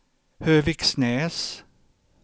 Höviksnäs